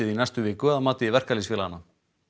í næstu viku að mati verkalýðsfélaganna